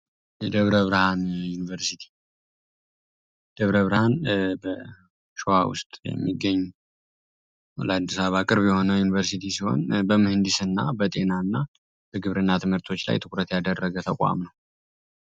ደብረ ብርሃን ዩኒቨርሲቲ ውስጥ የሚገኝ 20 አቅር የሆነው ዩኒቨርሲቲ ሲሆን በመህንዲስ እና በጤና እና ግብር እና ትምህርቶች ላይ ትኩረት ያደረገ ተቋም ነው።